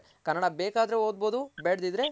ಕನ್ನಡ ಬೇಕಾದ್ರೂ ಓದ್ಬೌಸು ಬೇಡ್ಡಿದ್ರೆ